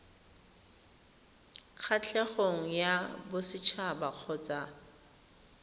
kgatlhegong ya boset haba kgotsa